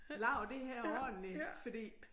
Lavet det her ordentligt fordi